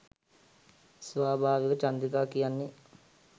ස්වාභාවික චන්ද්‍රිකා කියන්නේ